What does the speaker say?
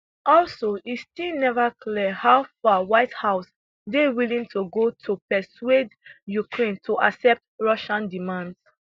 also e still never clear how far white house dey willing to go to persuade ukraine to accept russia demands